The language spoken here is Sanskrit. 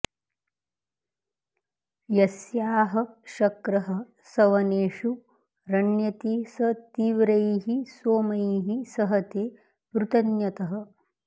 यस्याह शक्रः सवनेषु रण्यति स तीव्रैः सोमैः सहते पृतन्यतः